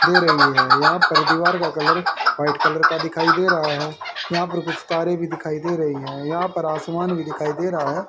दे रही है यहां पर दीवार का कलर वाइट कलर का दिखाई दे रहा है यहां पर कुछ तारे भी दिखाई दे रही है यहां पर आसमान भी दिखाई दे रहा है।